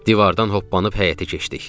Divardan hoppanıb həyətə keçdik.